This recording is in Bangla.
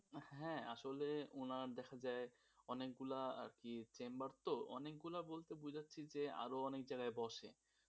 হ্যাঁ আসলে উনার দেখা যায় অনেকগুলা আর কি chamber তো, অনেকগুলা বলতে বুঝাছছে যে আরো অনেক জায়গায় বসে তো বসে,